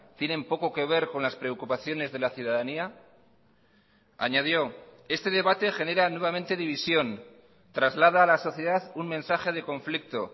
tienen poco que ver con las preocupaciones de la ciudadanía añadió este debate genera nuevamente división traslada a la sociedad un mensaje de conflicto